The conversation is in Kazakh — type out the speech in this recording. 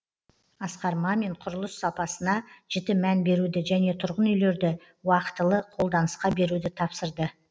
асқар мамин құрылыс сапасына жіті мән беруді және тұрғын үйлерді уақытылы қолданысқа беруді тапсырды